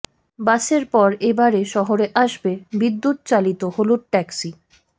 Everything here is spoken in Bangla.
বাসের পর এ বারে শহরে আসবে বিদ্যুৎ চালিত হলুদ ট্যাক্সি